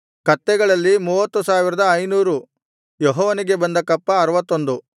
ಕತ್ತೆಗಳಲ್ಲಿ 30500 ಯೆಹೋವನಿಗೆ ಬಂದ ಕಪ್ಪ 61